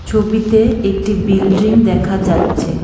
ছবিতে একটি বিল্ড্রিং দেখা যাচ্ছে।